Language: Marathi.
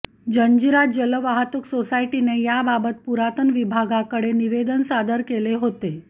जंजिरा जलवाहतूक सोसायटीने याबाबत पुरातन विभागाकडे निवेदन सादर केले होते